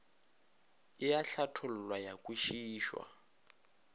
e a hlathollwa ya kwešišwa